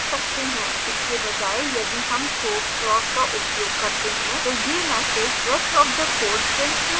इसके बजाय यदि हम throws clause का उपयोग करते हैं तो यह message rest of the code printed नहीं होगा